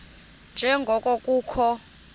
nje ngoko kukho